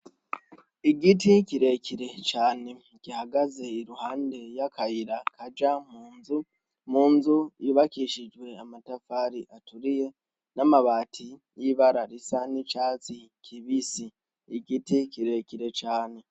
Igiti kirekire cane gihagaze i ruhande y'akayira kaja mu nzu yubakishijwe amatafari aturiye n'amabati y'ibararisa n'icatsi kibisi igiti kirekire cane.